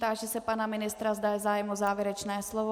Táži se pana ministra, zda je zájem o závěrečné slovo.